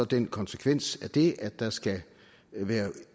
den konsekvens af det at der skal være